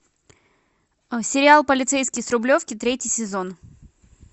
сериал полицейский с рублевки третий сезон